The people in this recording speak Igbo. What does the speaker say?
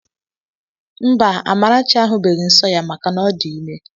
Mba, Amarachi ahubeghi nsọ ya maka na ọ dị ime.